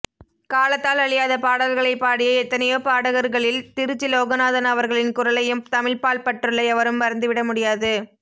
காலத்தால் அழியாத பாடல்களைப் பாடிய எத்தனையோ பாடகர்களில் திருச்சி லோகநாதன் அவர்களின் குரலையும் தமிழ்பால் பற்றுள்ள எவரும் மறந்துவிட முடியாது